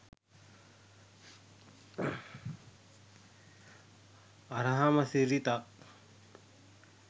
අරහම සිරිතක්